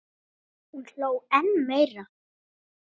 Hún hló enn meira.